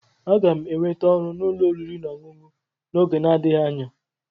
Aga m enweta ọrụ n'ụlọ oriri na ọṅụṅụ n'oge na-adịghị anya.